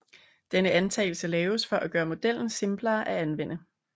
Denne antagelse laves for at gøre modellen simplere at anvende